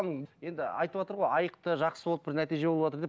енді айтып отыр ғой айықты жақсы болды бір нәтиже болыватыр деп